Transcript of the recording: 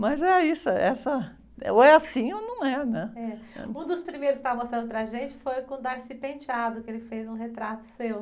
Mas é isso, é essa, ou é assim ou não é, né?.Um dos primeiros que você estava mostrando para a gente foi com o, que ele fez um retrato seu.